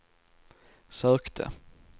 sökte